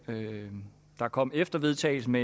der kom efter vedtagelsen